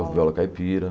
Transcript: viola caipira.